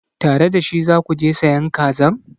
Tare da shi za ku je sayan kazan?